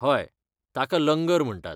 हय, ताका लंगर म्हणटात.